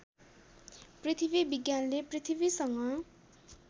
पृथ्वी विज्ञानले पृथ्वीसँग